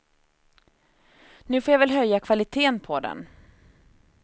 Nu får jag väl höja kvaliteten på den.